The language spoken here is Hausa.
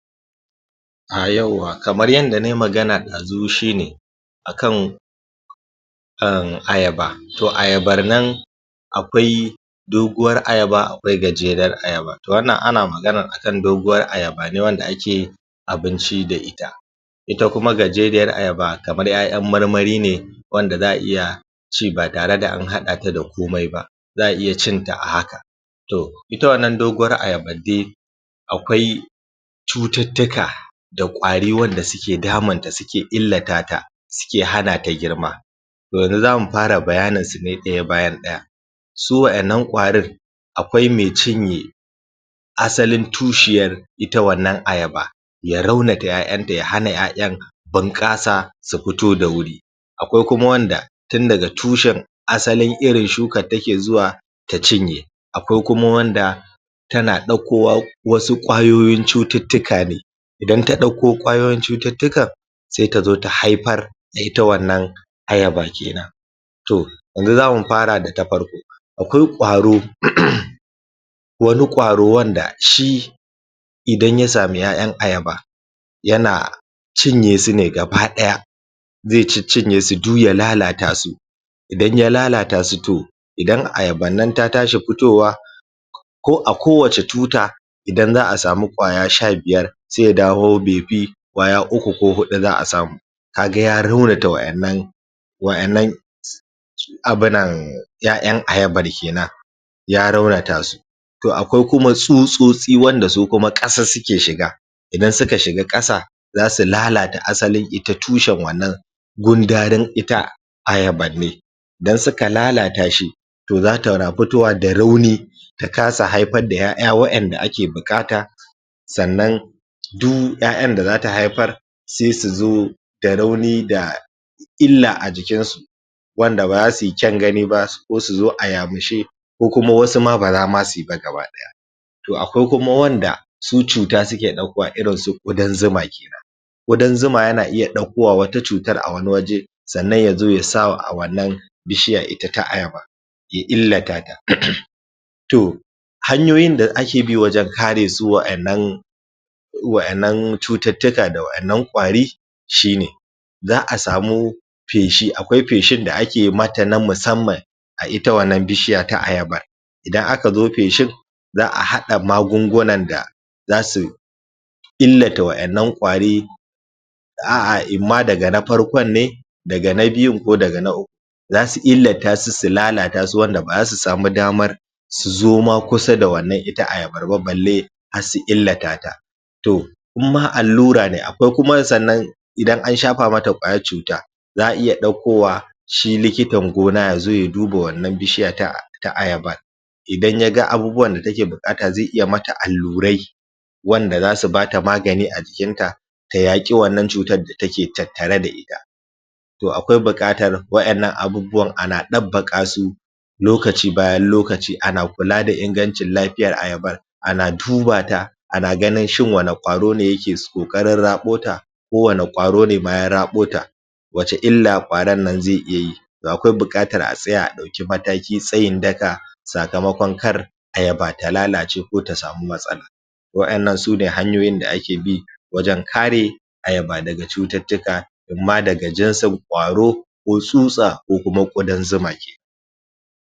Ah yawwa, kamar yanda nayi magana dazu shine akan ayaba, toh ayabar nan akwai doguwar ayaba akwai gajerar ayaba. Toh wanan ana magana ne akan doguwar ayaba ne wanda ake ake abinci da ita. Ita kuma gajeriyar ayaba kamar 'ya'yan marmari ne wanda za'a iya ci ba tare da an haɗa ta da komai ba, za'a iya cin ta a haka. Toh, ita wannan doguwar ayaban dai akwai cututtuka da ƙwari wanda suke damun ta suke illata ta, suke hana ta girma. Toh yanzu zamu fara bayanin su ne daya bayan daya. Su wa'innan ƙwarin akwai mai cinye asalin tushiyar ita wannan ayaba ya raunata 'ya'yan ta ya hana 'ya'yan bunƙasa su fito da wuri. Akwai kuma wanda tun daga tushen asalin irin shukan take zuwa ta cinye, akwai kuma wanda tana ɗauko wasu ƙwayoyin cututtuka ne, idan ta ɗauko ƙwayoyin cututtukan, sai tazo ta haifar da ita wannan ayaba kenan. Toh, yanzu zamu far da ta farko. Akwai ƙwaro, wani ƙwaro wanda shi idan ya samu 'ya'yan ayaba yana cinye sune gaba ɗaya zai ciccinye su duk ya lalata su idan ya lalata su toh, idan ayaban nan ta tashi fitowa ko ako wacce tuta idan za'a samu ƙwaya sha biyar, sai ya dawo bai fi ƙwaya uku ko huɗu za'a samu. Kaga ya raunata wa'innan wa'innan abunan ya'yan ayabar kenan ya raunata su. Toh akwai kuma tsutsotsi wanda su kuma ƙasa suke shiga ida suka shiga ƙasa za su lalata ita asalin ita tushen wannan gundarin ita ayaban ne dan suka lalata shi. Toh zata na fitowa da rauni ta kasa haifa-d da 'ya'ya wa'inda ake buƙata sannan duk 'ya'yan da zata haifar sai su zo da rauni da illa ajikin su, wanda baza suyi ƙyaun gani ba ko suzo a ya mushe ko kuma wasu ma baza ma suyi ba gaba daya. Toh akwai kuma wanda su cuta suke ɗaukowa irinsu ƙudan zuma kenan. ƙudan zuma yana iya ɗauko wa wata cutar a wani waje sannan yazo yasa a wannan bishiya ita ta ayaba ya illata ta. Toh, hanyaoyin da ake bi wajen kare su wa'yannan irin wa'yannan cuttuttuka da wa'yannan ƙwari shine, zaka samu peshi, akwai peshin da ake mata na musamman a ita wannan bishiya ta ayaba idan aka zo peshin za'a hada maagungunan da zasu illata wa'innan ƙwari a'a imma daga na farkon ne daga na biyun ko daga na uku zasu illata su su lalatasu wanda baza su samu damar su zo ma kusa da wannan ita ayabarba balle har su illata ta, toh in ma allura ne akwai kuma sannan idan an shafa mata ƙwayar chuta za'a iya dauko wa shi likitar gona yazo ya duba wannan bishiya ta ayaba idan yaga abubuwan da take buƙata ze iya mata allurai wanda zasu bata magani a jikin ta ta yaki wannan chutar da take tattare da ita to akwai buƙatar wa'innan abubuwan ana dabbaka su lokaci bayan lokaci ana kula da ingancun lafiyar ayabar ana dubata ana ganin shin wani ƙwaro ne yake ƙoƙarin rabo ta ko wani ƙwaro nema ya rabo ta wace illa ƙwaron nan ze iya yi, toh akwai buƙatar a tsaya a dauki mataki tsayin daka sakamaƙon kar ayaba ta lalace ko ta samu matsala wa'yannan sune hanyoyin da ake bi wajan kare ayaba daga chututtuka imma daga jinsin ƙwaro ko tsutsa ko kuma ƙwudan zuma kenan.